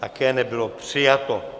Také nebylo přijato.